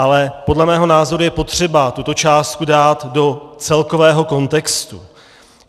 Ale podle mého názoru je potřeba tuto částku dát do celkového kontextu.